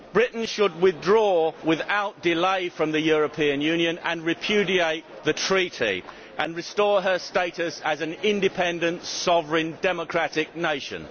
Britain should withdraw without delay from the European Union, repudiate the Treaty and restore her status as an independent, sovereign, democratic nation.